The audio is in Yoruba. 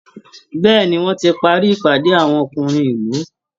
Bẹ́ẹ̀ ni, wọ́n ti parí ìpàdé àwọn ọkùnrin ìlú